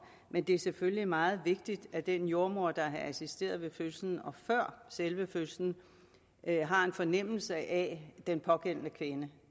men det er selvfølgelig meget vigtigt at den jordemoder der assisterede ved fødslen og før selve fødslen har en fornemmelse af den pågældende kvinde